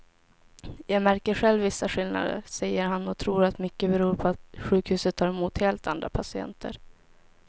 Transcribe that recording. Jag märker själv vissa skillnader, säger han och tror att mycket beror på att sjukhuset tar emot helt andra patienter.